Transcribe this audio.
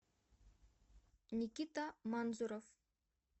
никита манзуров